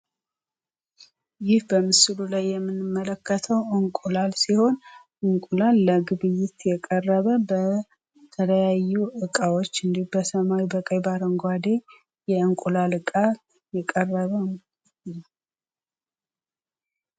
ይህ በምስሉ ላይ የምንመለከተው እንቁላል ሲሆን እንቁላል ለግብይት የቀረበ በተለያዩ እቃዎች በሰማያዊ ፣በቀይ ፣ ባረጓዴ የእንቁላል እቃ የቀረበ እንቁላል ነው።